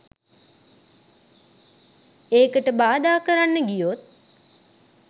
ඒකට බාධා කරන්න ගියොත්